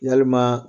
Yalima